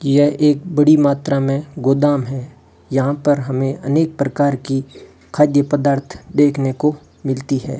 यह एक बड़ी मात्रा में गोदाम है यहां पर हमें अनेक प्रकार की खाद्य पदार्थ देखने को मिलती है।